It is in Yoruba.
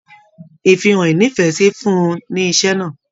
Ìfihàn ínífẹsí fún ùn ní iṣẹ náà.